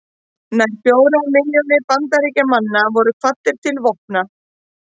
Nær fjórar milljónir Bandaríkjamanna voru kvaddar til vopna.